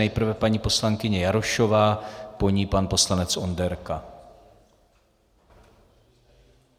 Nejprve paní poslankyně Jarošová, po ní pan poslanec Onderka.